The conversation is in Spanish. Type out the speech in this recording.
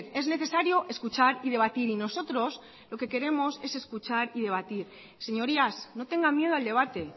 es necesario escuchar y debatir y nosotros lo que queremos es escuchar y debatir señorías no tengan miedo al debate